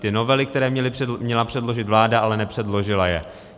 Ty novely, které měla předložit vláda, ale nepředložila je.